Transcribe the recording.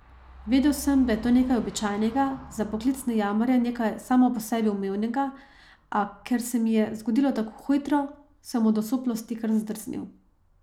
Vedel sem, da je to nekaj običajnega, za poklicne jamarje nekaj samo po sebi umevnega, a ker se mi je zgodilo tako hitro, sem se od osuplosti kar zdrznil.